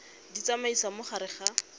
di tsamaisa mo gare ga